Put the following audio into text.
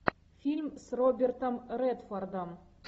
фильм с робертом редфордом